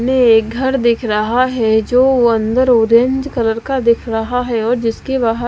एक घर दिख रहा है जो वह अंदर ऑरेंज कलर का दिख रहा है और जिसके बाहर--